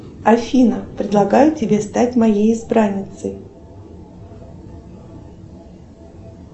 афина предлагаю тебе стать моей избранницей